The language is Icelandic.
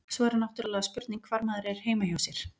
Svo er náttúrulega spurning hvar maður er heima hjá sér.